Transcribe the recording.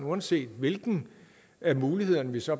uanset hvilken af mulighederne vi så